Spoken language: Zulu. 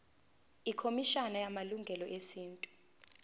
ikhomishana yamalungelo esintu